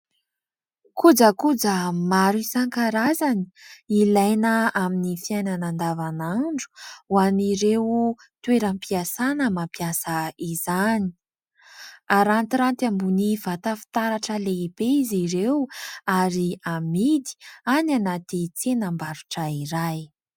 Kojakoja maro isankarazany ilaina amin'ny fiainana andavanandro ho an'ireo toeram-piasana mampiasa izany. Arantiranty ambony vata fitaratra lehibe izy ireo ary amidy any anaty tsenam-barotra iray.